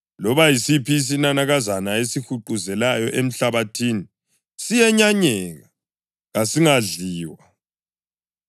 Loba yisiphi isinanakazana esihuquzelayo emhlabathini siyenyanyeka, kasingadliwa.